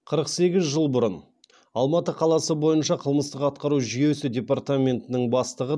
қырық сегіз жыл бұрын алматы қаласы бойынша қылмыстық атқару жүйесі департаментінің бастығы